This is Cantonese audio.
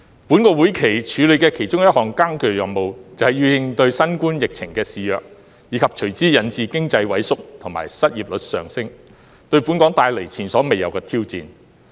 本會期處理的其中一項艱巨任務，便是要應對新冠疫情肆虐，以及隨之引致經濟萎縮和失業率上升，對本港帶來前所未有的挑戰。